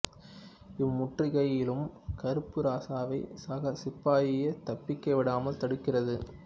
இம்முற்றுகையிலும் கருப்பு இராசாவை சக சிப்பாயே தப்பிக்க விடாமல் தடுக்கிறது